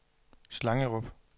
Slangerup